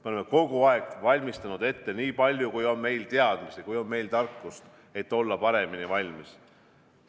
Me oleme kogu aeg valmistanud ette nii palju, kui on meil teadmisi, kui on meil tarkust, et olla paremini valmis.